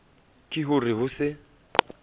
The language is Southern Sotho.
ke ho re ho se